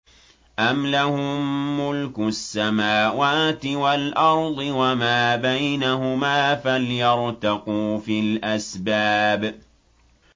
أَمْ لَهُم مُّلْكُ السَّمَاوَاتِ وَالْأَرْضِ وَمَا بَيْنَهُمَا ۖ فَلْيَرْتَقُوا فِي الْأَسْبَابِ